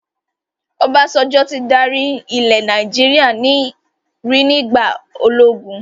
Obasanjo tí dárí ilẹ̀ Nàìjíríà rí nígbà ológun